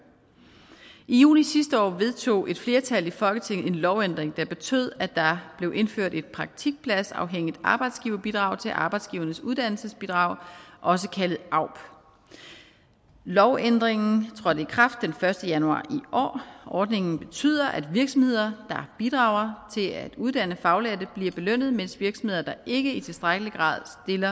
i juli sidste år vedtog et flertal i folketinget en lovændring der betød at der blev indført et praktikpladsafhængigt arbejdsgiverbidrag til arbejdsgivernes uddannelsesbidrag også kaldet aub lovændringen trådte i kraft den første januar i år og ordningen betyder at virksomheder der bidrager til at uddanne faglærte bliver belønnet mens virksomheder der ikke i tilstrækkelig grad